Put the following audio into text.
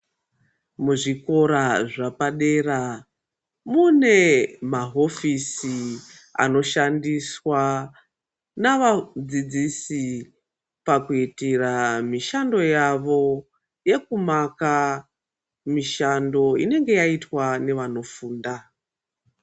Muzvikora zvapadera mune mahofisi anoshandiswa navadzidzisi pakuitira mishando yavo yekumaka mishando inenge yaitwa nevanofunda.